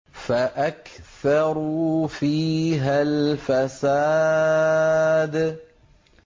فَأَكْثَرُوا فِيهَا الْفَسَادَ